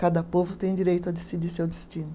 Cada povo tem direito a decidir seu destino.